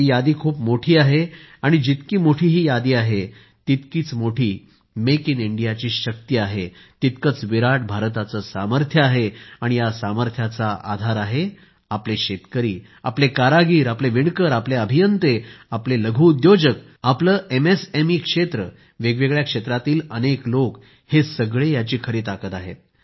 ही यादी खूप मोठी आहे आणि जितकी मोठी ही यादी आहे तितकीच मोठी मेक इन इंडियाची शक्ती आहे तितकंच विराट भारताचं सामर्थ्य आहे आणि या सामर्थ्याचा आधार आहे आपले शेतकरी आपले कारागीर आपले विणकर आपले अभियंते आपले लघु उद्योजक आपलं एमएसएमई क्षेत्र वेगवेगळ्या क्षेत्रातील अनेक लोक हे सगळे याची खरी ताकद आहेत